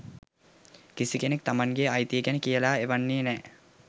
කිසි කෙනෙක් තමන්ගේ අයිතිය ගැන කියලා එවන්නේ නෑ